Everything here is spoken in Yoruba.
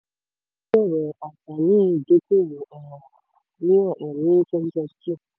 ó tún sọ̀rọ̀ àǹfààní ìdókòwò um mìíràn um ní twenty twenty two.